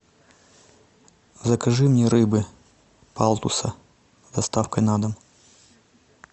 закажи мне рыбы палтуса с доставкой на дом